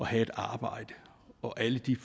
have et arbejde og alle de